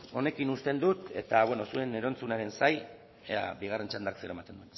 honekin uzten dut eta zuen erantzunenen zain ea bigarren txandak zer ematen